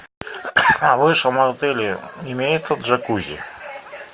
в вашем отеле имеется джакузи